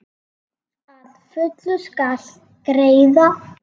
Að fullu skal greiða: